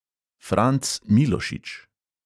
Franc milošič.